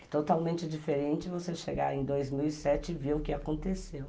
É totalmente diferente você chegar em dois mil e sete e ver o que aconteceu.